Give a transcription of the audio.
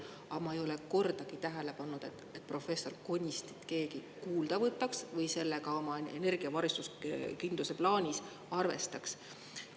Aga ma ei ole kordagi tähele pannud, et professor Konistit keegi kuulda võtaks või sellega energiavarustuskindluse plaanis arvestaks.